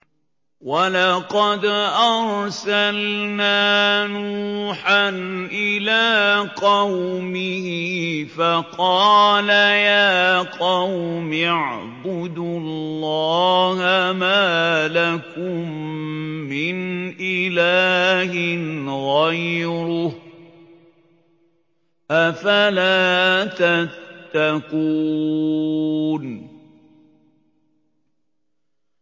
وَلَقَدْ أَرْسَلْنَا نُوحًا إِلَىٰ قَوْمِهِ فَقَالَ يَا قَوْمِ اعْبُدُوا اللَّهَ مَا لَكُم مِّنْ إِلَٰهٍ غَيْرُهُ ۖ أَفَلَا تَتَّقُونَ